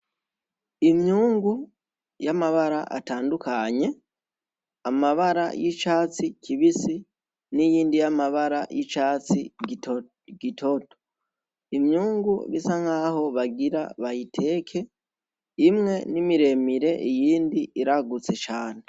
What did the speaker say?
Imyungu y'amabara atandukanye amabara y'icatsi kibisi n'iyindi y'amabara y'icatsi gitoto imyungu isa nkaho bagira bayiteke imwe ni miremire iyindi iragutse cane.